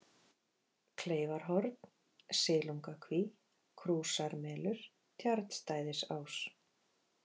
Kleifarhorn, Silungakví, Krúsarmelur, Tjarnstæðisás